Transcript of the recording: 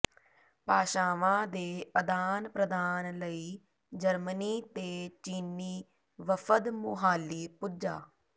ਭਾਸ਼ਾਵਾਂ ਦੇ ਅਦਾਨ ਪ੍ਰਦਾਨ ਲਈ ਜਰਮਨੀ ਤੇ ਚੀਨੀ ਵਫ਼ਦ ਮੁਹਾਲੀ ਪੁੱਜਾ